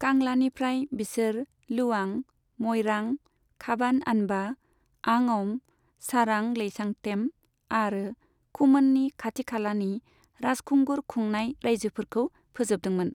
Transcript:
कांलानिफ्राय बिसोर लुवां, मइरां, खाबान आनबा, आंअम, सारां लेइसांथेम आरो खुमोननि खाथि खालानि राजखुंगुर खुंनाय रायजोफोरखौ फोजोबदोंमोन।